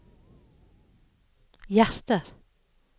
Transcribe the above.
hjerter